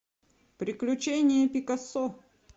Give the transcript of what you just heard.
приключения пикассо